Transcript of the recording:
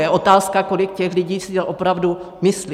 Je otázka, kolik těch lidí si to opravdu myslí.